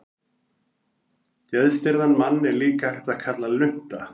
Geðstirðan mann er líka hægt að kalla lunta.